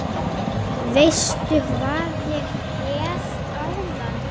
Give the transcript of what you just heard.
Veistu hvað ég hélt áðan?